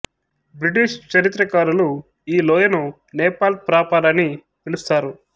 British చరిత్రకారులు ఈ లోయను నేపాల్ ప్రాపర్ అని పిలుస్తారు